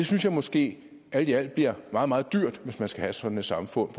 synes måske det alt i alt bliver meget meget dyrt hvis man skal have sådan et samfund